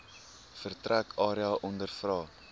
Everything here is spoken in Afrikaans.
vertrek area ondervra